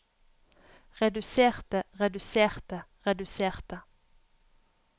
reduserte reduserte reduserte